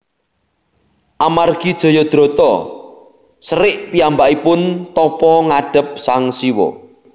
Amargi Jayadrata serik piyambakipun tapa ngadhep Sang Siwa